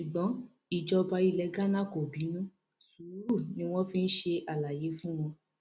ṣùgbọn ìjọba ilẹ ghana kò bínú sùúrù ni wọn fi ṣe àlàyé fún wọn